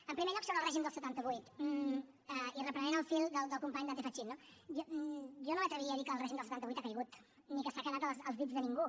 en primer lloc sobre el règim del setanta vuit i reprenent el fil del company dante fachin no jo no m’atreviria a dir que el règim del setanta vuit ha caigut ni que s’ha quedat als dits de ningú